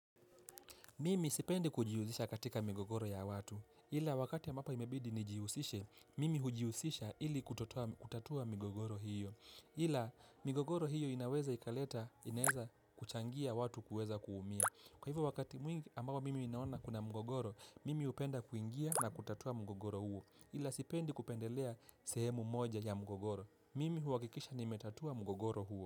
Mimi sipendi kujiuzisha katika mgogoro ya watu. Ila wakati ambapo imebidi nijiuzishe, mimi hujiuzisha ili kutatua mgogoro hiyo. Ila migogoro hiyo inaweza ikaleta, inaweza kuchangia watu kuweza kuumia. Kwa hivyo wakati mwingi ambao mimi ninaona kuna mgogoro, mimi upenda kuingia na kutatua mgogoro huo. Ila sipendi kupendelea sehemu moja ya mgogoro. Mimi huwakikisha nimetatua mgogoro huo.